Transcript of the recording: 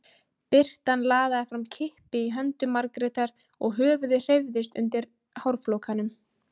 Birtan laðaði fram kippi í höndum Margrétar og höfuðið hreyfðist undir hárflókanum.